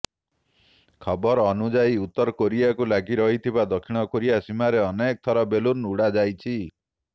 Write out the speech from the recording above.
ଖବର ଅନୁଯାୟୀ ଉତ୍ତର କୋରିଆରକୁ ଲାଗି ରହିଥିବା ଦକ୍ଷିଣ କୋରିଆ ସୀମାରେ ଅନେକ ଥର ବେଲୁନ୍ ଉଡାଯାଇଛି